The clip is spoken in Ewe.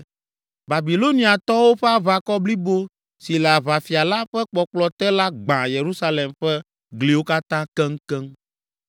Babiloniatɔwo ƒe aʋakɔ blibo si le aʋafia la ƒe kpɔkplɔ te la gbã Yerusalem ƒe gliwo katã keŋkeŋ.